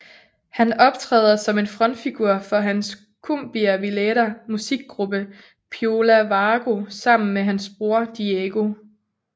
Han optræder som en frontfigur for hans cumbia villera musikgruppe Piola Vago sammen med hans bror Diego